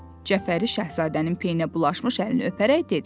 Cəfəri şahzadənin pendirə bulaşmış əlini öpərək dedi.